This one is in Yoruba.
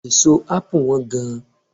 Èso ápù Wọ́n gan